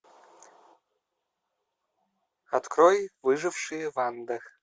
открой выжившие в андах